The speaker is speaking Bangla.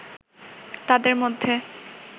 তাঁদের মধ্যে